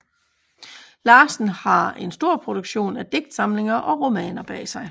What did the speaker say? Larsen har en stor produktion af digtsamlinger og romaner bag sig